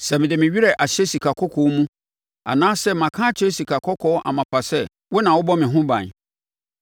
“Sɛ mede me werɛ ahyɛ sikakɔkɔɔ mu anaasɛ maka akyerɛ sikakɔkɔɔ amapa sɛ, ‘Wo na wobɔ me ho ban,’